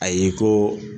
Ayi ko